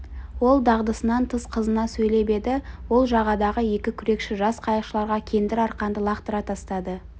ол дағдысынан тыс қызына сөйлеп еді ол жағадағы екі күрекші жас қайықшыларға кендір арқанды лақтыра тастады